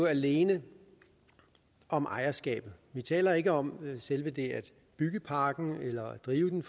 alene om ejerskabet vi taler ikke om selve det at bygge parken eller drive den